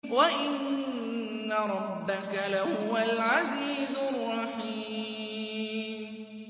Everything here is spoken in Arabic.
وَإِنَّ رَبَّكَ لَهُوَ الْعَزِيزُ الرَّحِيمُ